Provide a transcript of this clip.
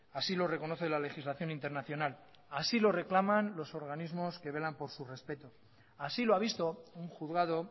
así lo reconoce la legislación internacional así lo reclaman los organismos que velan por su respeto así lo ha visto un juzgado